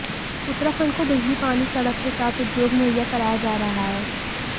उत्तराखंड को बिजली पानी सड़क के साथ उद्योग मुहैया कराया जा रहा है